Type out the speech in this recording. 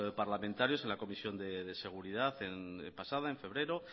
parlamentarios en la comisión de seguridad pasada en febrero